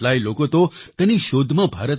કેટલાય લોકો તો તેની શોધમાં